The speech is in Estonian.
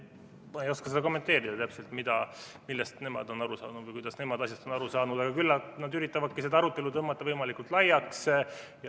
Ma ei oska seda täpselt kommenteerida, millest nemad on aru saanud või kuidas nemad on asjast aru saanud, aga küllap nad üritavadki seda arutelu tõmmata võimalikult laiaks.